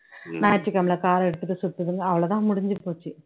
ஞாயிற்றுக்கிழமையில car எடுத்துட்டு சுத்துதுங்க அவ்ளோ தான் முடிஞ்சு போச்சு